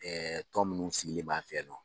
Ɛɛ tɔ minnu sigilen b'an fɛ yan nɔ.